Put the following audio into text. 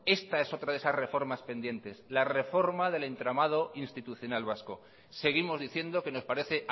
esta es otra de esas reformas pendientes la reforma del entramado institucional vasco seguimos diciendo que nos parece